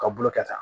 Ka bolo kɛ tan